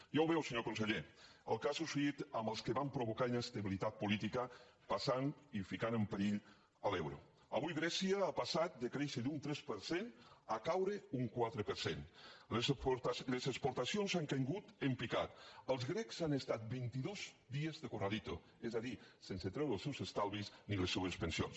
ja ho veu senyor conseller el que ha succeït amb els que van provocar inestabilitat política passant i ficant en perill l’euro avui grècia ha passat de créixer d’un tres per cent a caure un quatre per cent les exportacions han caigut en picat els grecs han estat vint i dos dies de corralito és a dir sense treure els seus estalvis ni les seues pensions